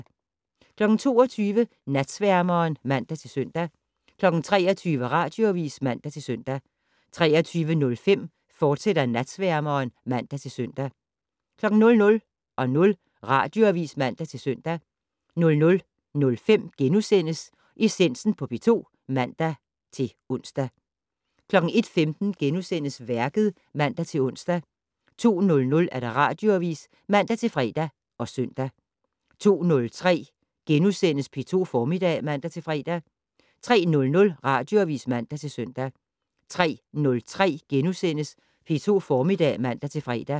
22:00: Natsværmeren (man-søn) 23:00: Radioavis (man-søn) 23:05: Natsværmeren, fortsat (man-søn) 00:00: Radioavis (man-søn) 00:05: Essensen på P2 *(man-ons) 01:15: Værket *(man-ons) 02:00: Radioavis (man-fre og søn) 02:03: P2 Formiddag *(man-fre) 03:00: Radioavis (man-søn) 03:03: P2 Formiddag *(man-fre)